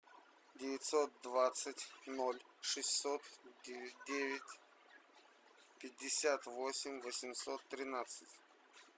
девятьсот двадцать ноль шестьсот девять пятьдесят восемь восемьсот тринадцать